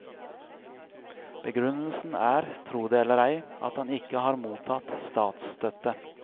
Begrunnelsen er, tro det eller ei, at han ikke har mottatt statsstøtte.